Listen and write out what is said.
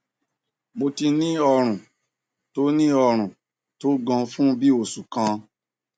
mo ti ní ọrùn tó ní ọrùn tó gan fún bí i oṣù kan